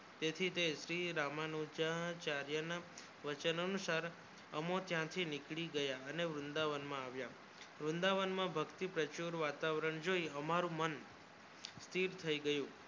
તેથી તે શ્રી રામનું ચાર્ય નું વચન નુસાર અમો થયાંથી નીકળી ગયા અને વૃંદાવન માં આવ્યા વૃંદાવન માં ભક્તિ પ્રચુર વાતાવર જોયી એમાં મારું મન સ્થિર થયી ગયું